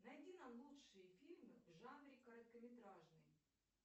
найди нам лучшие фильмы в жанре короткометражный